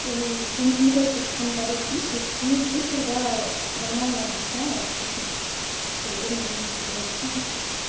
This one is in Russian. уф мне тоже такие комментарии пишет ну пусть тогда нормально объясняет тогда мы будем всё делать сами